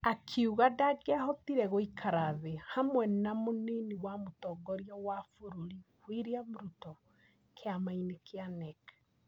Akiuga ndangĩahotire gũikara thĩ hamwe na mũnini wa mũtongoria wa bũrũri William Ruto kĩama-inĩ kĩa NEC.